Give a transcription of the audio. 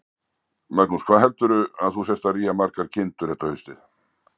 Magnús: Hvað heldurðu að þú sért að rýja margar kindur þetta haustið?